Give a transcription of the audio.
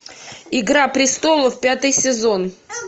игра престолов пятый сезон